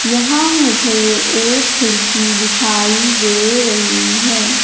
यहां मुझे एक खिड़की दिखाई दे रही है।